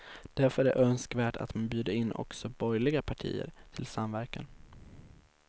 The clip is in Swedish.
Därför är det önskvärt att man bjuder in också borgerliga partier till samverkan.